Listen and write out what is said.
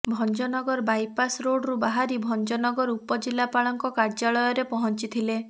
Bhanjanagar bypass ରୋଡରୁ ବାହାରି ଭଂଜନଗର ଉପ ଜିଲ୍ଲାପାଳଙ୍କ କାର୍ଯ୍ୟାଳୟରେ ପହଂଚିଥିଲେ